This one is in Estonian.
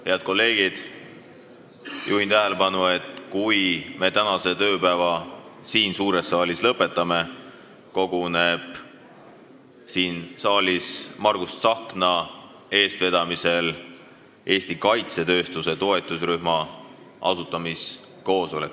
Head kolleegid, juhin tähelepanu, et kui me tänase tööpäeva siin suures saalis lõpetame, koguneb siin Margus Tsahkna eestvedamisel Eesti kaitsetööstuse toetusrühma asutamiskoosolek.